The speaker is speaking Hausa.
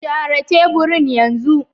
Share teburin yanzu!